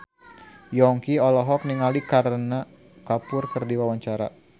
Yongki olohok ningali Kareena Kapoor keur diwawancara